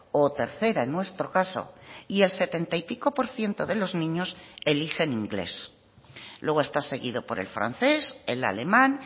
o tercera en nuestro caso y el setenta y pico por ciento de los niños eligen inglés luego esta seguido por el francés el alemán